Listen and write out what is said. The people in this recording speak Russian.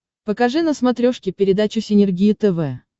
покажи на смотрешке передачу синергия тв